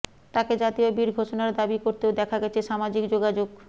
তাকে জাতীয় বীর ঘোষণার দাবি করতেও দেখা গেছে সামাজিক যোগাযোগ